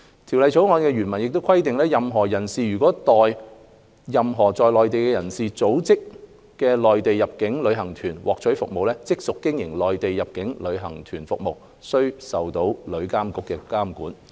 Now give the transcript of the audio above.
《條例草案》原文亦規定，任何人士如代任何在內地的人所組織的內地入境旅行團獲取服務，即屬經營內地入境旅行團業務，須受旅監局監管。